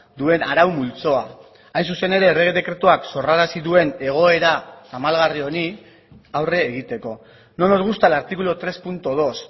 duen arau multzoa hain zuzen ere errege dekretuak sorrarazi duen egoera tamalgarri honi aurre egiteko no nos gusta el artículo tres punto dos